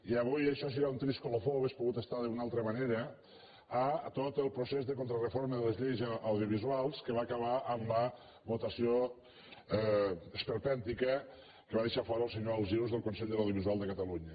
i avui això serà un trist colofó hauria pogut ser d’una altra manera a tot el procés de contrareforma de les lleis audiovisuals que va acabar amb la votació esperpèntica que va deixar fora el senyor alsius del consell de l’audiovisual de catalunya